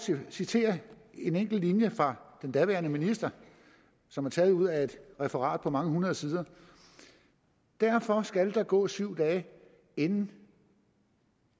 citere en enkelt linje fra den daværende minister som er taget ud af et referat på mange hundrede sider derfor skal der gå syv dage inden